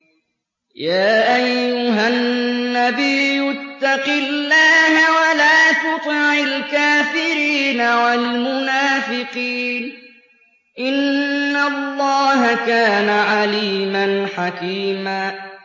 يَا أَيُّهَا النَّبِيُّ اتَّقِ اللَّهَ وَلَا تُطِعِ الْكَافِرِينَ وَالْمُنَافِقِينَ ۗ إِنَّ اللَّهَ كَانَ عَلِيمًا حَكِيمًا